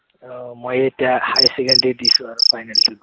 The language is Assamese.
আহ মই এতিয়া high secondary দিছো আৰু final টো দি